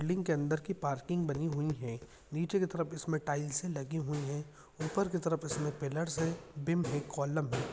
Building के अंदर की पार्किंग बनी हुई हैं नीचे के तरफ इसमे टाइल्से लगी हुई हैं ऊपर की तरफ इसमे पिलर्स हैं बीम है कॉलम है।